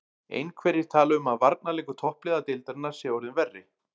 Einhverjir tala um að varnarleikur toppliða deildarinnar sé orðinn verri.